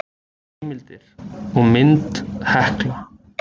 heimildir og mynd hekla